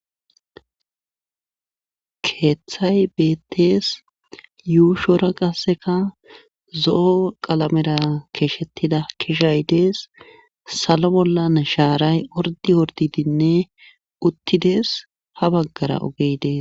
keeththay beettees yuushora qasseka zo7o qalamera keeshettida kishay dees salo bollan shaaray ordi ordidinne uttides ha baggara ogey dees